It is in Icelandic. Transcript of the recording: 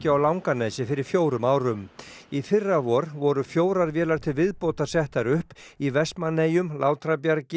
á Langanesi fyrir fjórum árum í fyrravor voru fjórar vélar til viðbótar settar upp í Vestmannaeyjum Látrabjargi